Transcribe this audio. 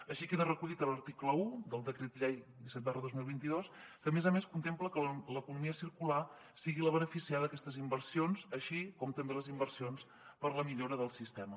així queda recollit a l’article un del decret llei disset dos mil vint dos que a més a més contempla que l’economia circular sigui la beneficiada d’aquestes inversions així com també les inversions per a la millora del sistema